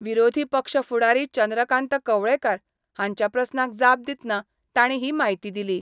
विरोधी पक्ष फुडारी चंद्रकांत कवळेकार हांच्या प्रस्नांक जाप दितनां तांणी ही म्हायती दिली.